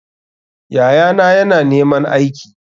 Yayana yana neman aiki.